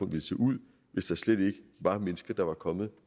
ville se ud hvis der slet ikke var mennesker der var kommet